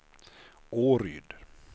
Åryd